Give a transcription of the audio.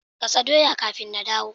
Gasa doya kafin na dawo.